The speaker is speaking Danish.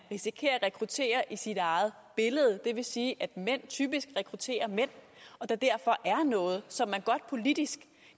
risikerer at rekruttere i sit eget billede det vil sige at mænd typisk rekrutterer mænd og derfor er der noget som man politisk